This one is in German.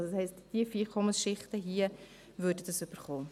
Das heisst, tiefe Einkommensschichten würden diese erhalten.